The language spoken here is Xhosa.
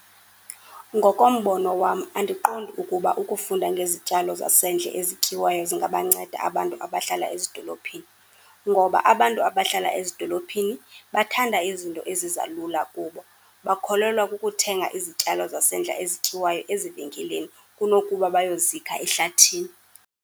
Ngokombono wam andiqondi ukuba ukufunda ngezityalo zasendle ezityiwayo zingabanceda abantu abahlala ezidolophini, ngoba abantu abahlala ezidolophini bathanda izinto eziza lula kubo. Bakholelwa kukuthenga izityalo zasendle ezityiwayo ezivenkileni, kunokuba bayozikha ehlathini.